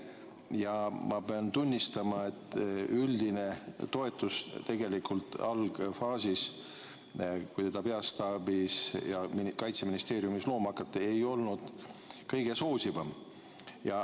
Ja ma pean tunnistama, et üldine toetus algfaasis, kui seda keskust peastaabis ja Kaitseministeeriumis looma hakati, ei olnud kõige soosivam.